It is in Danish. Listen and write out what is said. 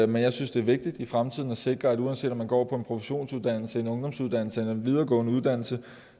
men jeg synes det er vigtigt i fremtiden at sikre at uanset om man går på en produktionsuddannelse en ungdomsuddannelse eller en videregående uddannelse